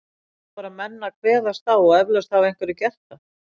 Það vantar bara að menn kveðist á og eflaust hafa einhverjir gert það.